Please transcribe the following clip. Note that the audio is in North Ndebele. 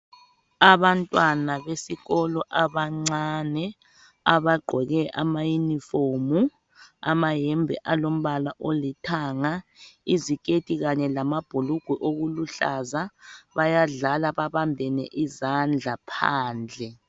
Abantwana besikolo abancane abagqoke amayunifomu amahembe alombala olithanga iziketi kanye lamabhulugwe okuluhlaza bayadlala babambene izandla phandle.